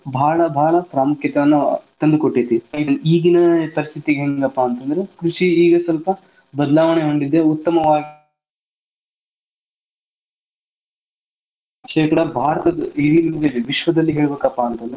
ಬಾಳ್ ಪ್ರಾಮುಕ್ಯತೆ ಅನ್ನ ತಂದು ಕೋಟ್ಟೈತಿ. ಈಗಿನ ಪರಿಸ್ಥಿತಿ ಹೆಂಗಪ್ಪಾ ಅಂತಂದ್ರ ಕೃಷಿ ಈಗ ಸ್ವಲ್ಪ ಬದಲಾವಣೆ ಹೊಂದಿದೆ ಉತ್ತಮವಾದ ಶೇಕಡಾ ಭಾರತದ್ದ ವಿಶ್ವದಲ್ಲಿ ಹೇಳಬೇಕಪ್ಪಾ ಅಂತಂದ್ರ.